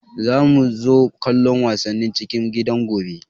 Za mu zo kallon wasannin cikin gidan gobe